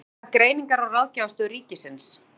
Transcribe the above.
Þið hafið heyrt af Greiningar- og ráðgjafarstöð ríkisins?